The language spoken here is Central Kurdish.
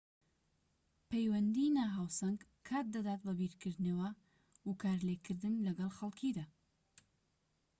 پەیوەندیی ناهاوسەنگ کات دەدات بە بیرکردنەوە و کارلێكکردن لەگەڵ خەڵكیدا